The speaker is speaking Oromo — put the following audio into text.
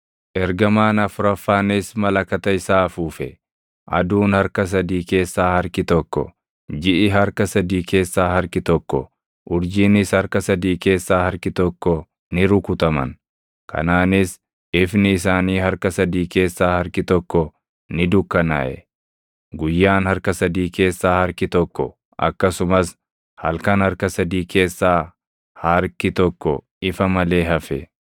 Ergamaan afuraffaanis malakata isaa afuufe; aduun harka sadii keessaa harki tokko, jiʼi harka sadii keessaa harki tokko, urjiinis harka sadii keessaa harki tokko ni rukutaman; kanaanis ifni isaanii harka sadii keessaa harki tokko ni dukkanaaʼe. Guyyaan harka sadii keessaa harki tokko akkasumas halkan harka sadii keessaa harki tokko ifa malee hafe.